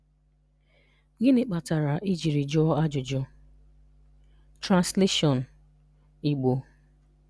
Gịnị kpatara ị jiri jụọ ajụjụ?\nTranslation (Igbo)